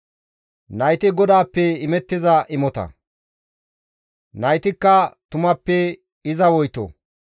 Nayti GODAAPPE imettiza imotata; naytikka tumappe iza woyto.